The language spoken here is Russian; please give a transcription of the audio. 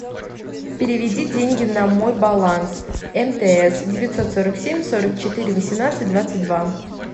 переведи деньги на мой баланс мтс девятьсот сорок семь сорок четыре восемнадцать двадцать два